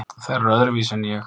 Þær eru öðruvísi en ég.